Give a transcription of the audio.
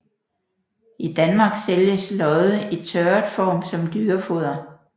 I Danmark sælges lodde i tørret form som dyrefoder